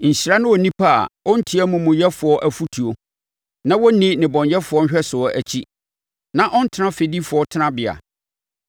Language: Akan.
Nhyira ne onipa a ɔntie amumuyɛfoɔ afotuo na ɔnni nnebɔneyɛfoɔ nhwɛsoɔ akyi na ɔntena fɛdifoɔ tenabea.